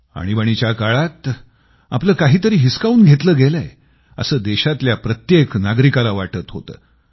आणीबाणीच्या काळात आपलं काहीतरी हिसकावून घेतलं गेलंय असं देशातल्या प्रत्येक नागरिकाला वाटत होतं